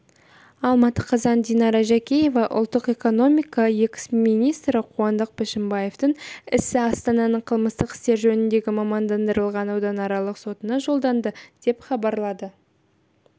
алматы қазан динара жаркеева ұлттық экономика экс-министрі қуандық бішімбаевтың ісі астананың қылмыстық істер жөніндегі мамандандырылған ауданаралық сотына жолданды деп хабарлады